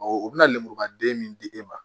u bɛ na lemuruba den min di e ma